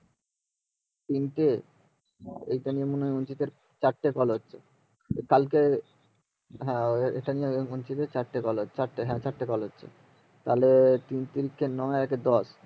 কিন্তু এখানে চারটে color আছে কালকে হ্যাঁ এখানে চারটে color ছিল তাহলে তিন তিরিকে নয় আর এক এ দশ